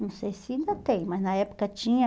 Não sei se ainda tem, mas na época tinha.